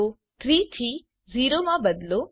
તો 3 થી 0 માં બદલો